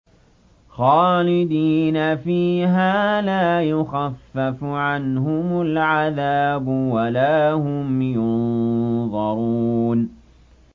خَالِدِينَ فِيهَا لَا يُخَفَّفُ عَنْهُمُ الْعَذَابُ وَلَا هُمْ يُنظَرُونَ